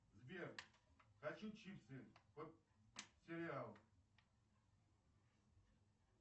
сбер хочу чипсы под сериал